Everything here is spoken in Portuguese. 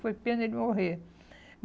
Foi pena ele morrer.